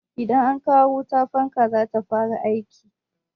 Idan an kawo wuta, fanka zai fara aiki